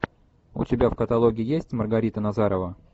у тебя в каталоге есть маргарита назарова